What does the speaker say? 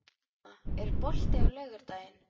Irma, er bolti á laugardaginn?